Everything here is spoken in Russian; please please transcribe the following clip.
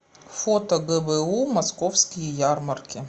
фото гбу московские ярмарки